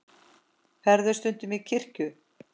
Ferðu stundum í kirkju?